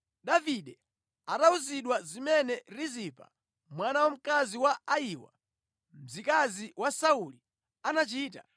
Davide atawuzidwa zimene Rizipa mwana wamkazi wa Ayiwa, mzikazi wa Sauli anachita,